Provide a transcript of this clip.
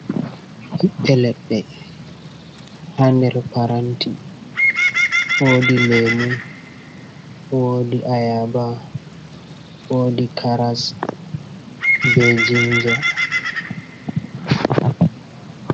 Ɓiɓɓe leɗɗe ha nder paranti, woodi leemu, woodi ayaba, wodi "karas" bee "jinja".